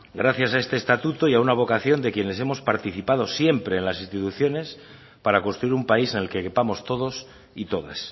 gracias a este estatuto y a una vocación de quienes hemos participado siempre en las instituciones para construir un país en el que quepamos todos y todas